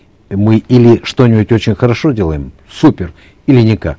мы или что нибудь очень хорошо делаем супер или никак